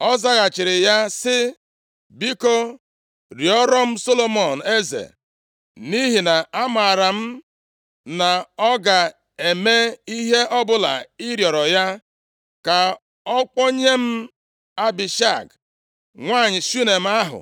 Ọ zaghachiri ya sị, “Biko rịọrọ m Solomọn eze, nʼihi na amaara m na ọ ga-eme ihe ọbụla ị rịọrọ ya, ka ọ kpọnye m Abishag, nwanyị Shunem ahụ,